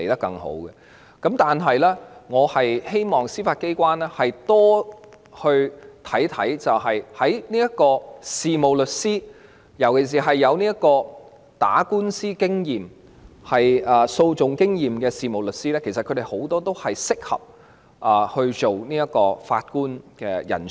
但我希望司法機關會多加留意事務律師，尤其是有訴訟經驗的事務律師，其實他們很多都是適合擔任法官的人才。